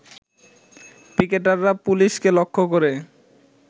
পিকেটাররা পুলিশকে লক্ষ্য করে